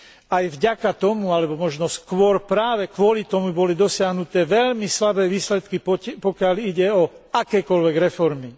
Aj vďaka tomu, alebo možno skôr práve kvôli tomu, boli dosiahnuté veľmi slabé výsledky, pokiaľ ide o akékoľvek reformy.